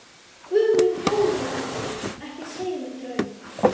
Guð minn góður, Dídí, ekki segja mér draum.